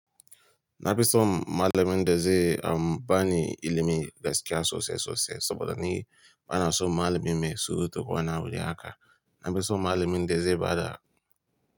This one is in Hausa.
Na fi so malamin da zai am bani ilimi gaskiya sosai sosai saboda ni bana so malamin mai surutu ko wani abu de haka. Na fi so malamin da zai ba da.